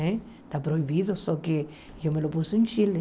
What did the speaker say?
Está proibido, só que eu me pus em Chile.